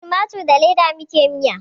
Da tumatur na leda muke miya